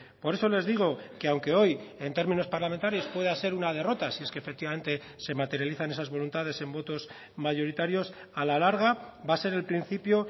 por eso les digo que aunque hoy en términos parlamentarios pueda ser una derrota si es que efectivamente se materializan esas voluntades en votos mayoritarios a la larga va a ser el principio